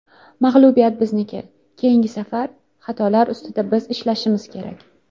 Mag‘lubiyat bizniki, keyingi safar xatolar ustida biz ishlashimiz kerak.